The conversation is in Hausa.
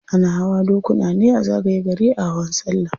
Ana hawa dokuna ne a zagaye gari a hawan sallah.